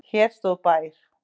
Hér stóð bær.